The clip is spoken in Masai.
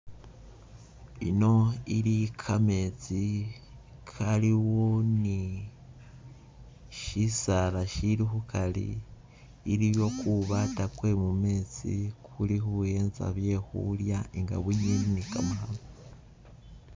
I'no ili kametsi kaliwo ni shisaala shili khukali iliwo kubaata kwemu metsi nga kulikhuwenza byekhulya nga wiwi ne kamakhano.